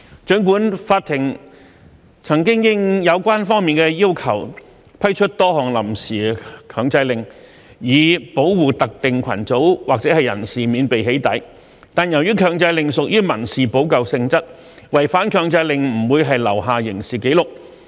儘管法庭曾經應有關方面的要求，批出多項臨時強制令，以保護特定群組或人士免被"起底"，但由於強制令屬於民事補救性質，違反強制令並不會留下刑事紀錄。